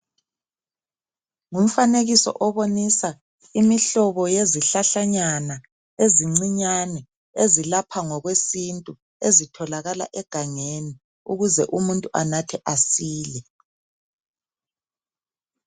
Umfanekiso obomisa imihlobo yezihlahlanyana ezincinyane ezilapha ngokwesintu ezitholakala egangeni ukuze umuntu anathe asile.